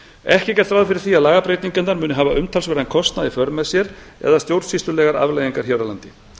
ekki er gert ráð fyrir því að lagabreytingarnar muni hafa umtalsverðan kostnað í för með sér eða stjórnsýslulegar afleiðingar hér á landi